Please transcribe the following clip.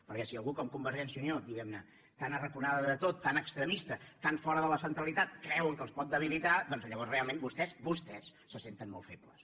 perquè si algú com convergència i unió diguem ne tan arraconada de tot tan extremista tan fora de la centralitat creuen que els pot debilitar doncs llavors realment vostès vostès se senten molt febles